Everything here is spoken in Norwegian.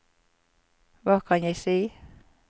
hva kan jeg si